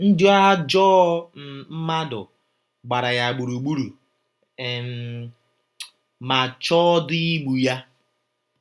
Ndị ajọ um mmadụ gbara ya gburugburu um ma chọọdị igbu ya